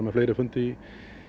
með fleiri fundi